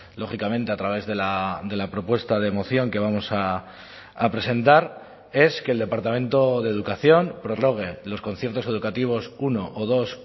lógicamente a través de la propuesta de moción que vamos a presentar es que el departamento de educación prorrogue los conciertos educativos uno o dos